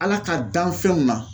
Ala ka danfɛnw na